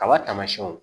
Kaba tamasiyɛnw